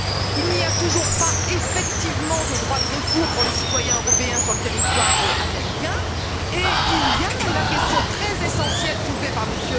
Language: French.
Il n'y a toujours pas, effectivement, de droit de recours pour les citoyens européens sur le territoire américain et il y a la question très essentielle soulevée par M.